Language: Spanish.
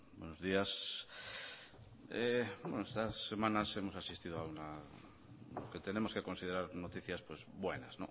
buenos días bueno estas semanas hemos asistido a una lo que tenemos que considerar noticias buenas